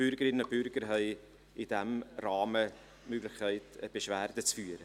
Die Bürgerinnen und Bürger haben in diesem Rahmen die Möglichkeit, Beschwerde zu führen.